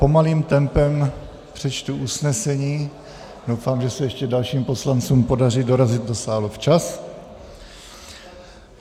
Pomalým tempem přečtu usnesení, doufám, že se ještě dalším poslancům podaří dorazit do sálu včas.